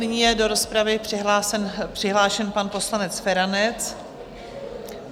Nyní je do rozpravy přihlášen pan poslanec Feranec.